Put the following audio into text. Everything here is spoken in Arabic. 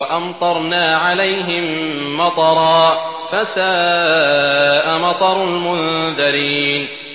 وَأَمْطَرْنَا عَلَيْهِم مَّطَرًا ۖ فَسَاءَ مَطَرُ الْمُنذَرِينَ